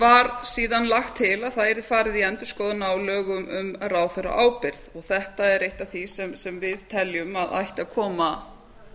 var síðan lagt til að það yrði farið í endurskoðun á lögum um ráðherraábyrgð þetta er eitt af því sem við teljum að ætti að koma